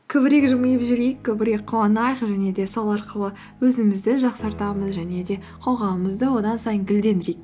көбірек жымиып жүрейік көбірек қуанайық және де сол арқылы өзімізді жақсартамыз және де қоғамымызды одан сайын гүлдендірейік